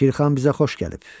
Şirxan bizə xoş gəlib.